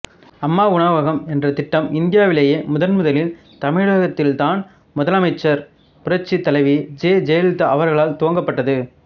அம்மா உணவகம் என்ற திட்டம் இந்தியாவிலேயே முதன்முதலில் தமிழகத்தில் தான் முதலமைச்சர் புரட்சி தலைவி ஜெ ஜெயலலிதா அவர்களால் துவங்கப்பட்டது